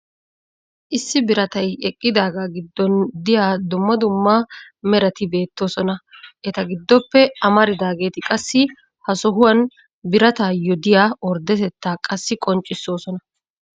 issi biratay eqqidaagaa giddon diya dumma dumma merati beetoosona. eta giddoppe amaridaageeti qassi ha sohuwan birataayo diya ordetettaa qassi qonccisosona.